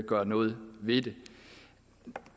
gøre noget ved det